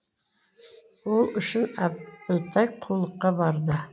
ол үшін әбілтай қулыққа барды